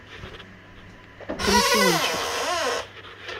комиссионщик